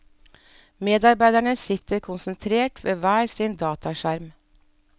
Medarbeiderne sitter konsentrert ved hver sin dataskjerm.